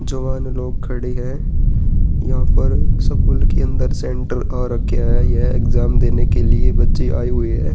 जवान लोग खड़े हैं। यहाँ पर स्कूल के अंदर सेण्टर आ रखा है। यह एग्जाम देने के लिए बच्चे आए हुए है।